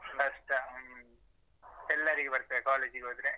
ಕಷ್ಟ ಹ್ಮ್ ಎಲ್ಲರಿಗೆ ಬರ್ತದೆ college ಗೆ ಹೋದ್ರೆ.